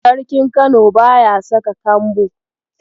Sarkin Kano baya saka kambo